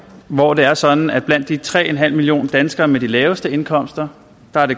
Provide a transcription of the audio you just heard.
hvor det er sådan at det blandt de tre millioner danskere med de laveste indkomster